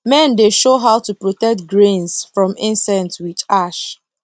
men dey show how to protect grains from insect with ash